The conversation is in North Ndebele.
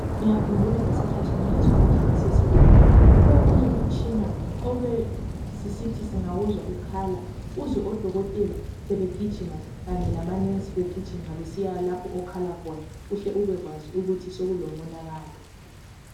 Ngiyakhumbula ngingezwa kuhle ngisesibhedlela kulomunye umtshina obesisithi singawuzwa ukhala, uzwe odokotela kanye lamanensi begijima uhle ubekwazi ukuthi sokulomonakalo.